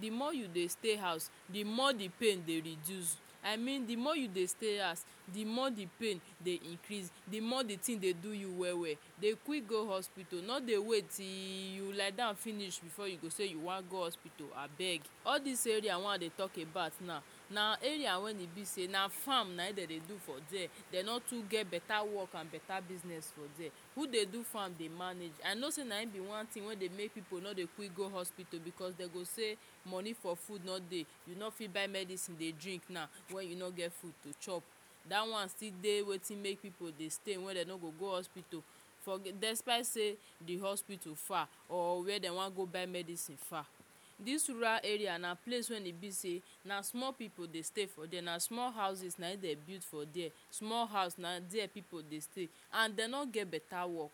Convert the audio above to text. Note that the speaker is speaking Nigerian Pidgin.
de more you dey stay house de more de pain dey reduce i mean de more you dey stay house de more de pain dey increase de more de thing dey do you well well dey quick go hospital no dey wait till you liedon finish before you go sey you wan go hospital abeg all this area wey i dey talk about now na area wey e be sey na farm na im dem dey do for dere dem no too get better work and better business for dere who dey do farm dey manage i know sey na him be one thing wey dey make pipu no dey quick go hospital because dem go sey money for food no dey you no fit buy medicine dey drink now when you no get food to chop dat one still dey wetin make pipu dey stay wey dem no go go hospital for de despite sey de hospital far or where dem wan go buy medicine far this rural area na place wey e be sey na small pipu dey stay for dere na small houses na him build for dere small house na dere pipu dey stay and dem no get beta work